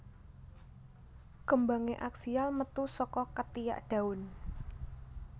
Kembangé aksial metu saka ketiak daun